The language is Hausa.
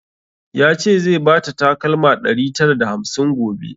Ya ce zai bata takalma ɗari tara da hamsin gobe